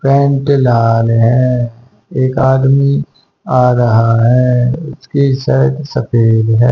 Pant लाल है एक आदमी आ रहा है उसकी शर्ट सफेद है।